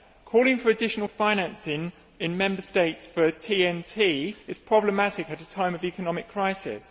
Calling for additional financing in Member States for a TEN T is problematic at a time of economic crisis.